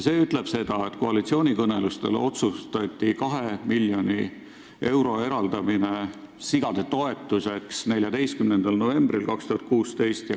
See ütleb seda, et koalitsioonikõnelustel otsustati 2 miljoni euro eraldamine sigade toetuseks 14. novembril 2016.